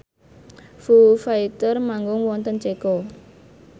Foo Fighter manggung wonten Ceko